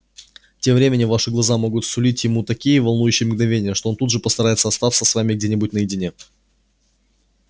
тем временем ваши глаза могут сулить ему такие волнующие мгновения что он тут же постарается остаться с вами где-нибудь наедине